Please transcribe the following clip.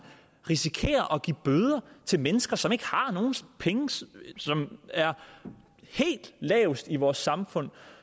risikerer at give bøder til mennesker som ikke har nogen penge som er lavest i vores samfund